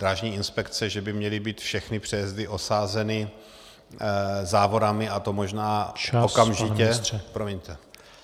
Drážní inspekce, že by měly být všechny přejezdy osazeny závorami a to možná okamžitě...